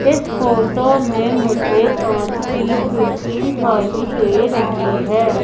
इस फोटो में मुझे कांच की खिड़की दिखाई दे रही है।